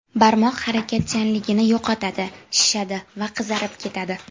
Barmoq harakatchanligini yo‘qotadi, shishadi va qizarib ketadi.